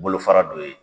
Bolofara dɔ ye